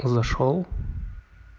зашёл